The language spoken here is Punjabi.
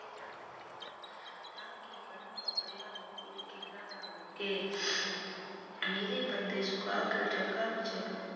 ਕੇ ਮੇਰੇ ਪੱਤੇ ਸੁਕਾ ਕੇ ਟਰੰਕਾ ਦੇ ਵਿੱਚ ਰੱਖਦੇ ਹਨ।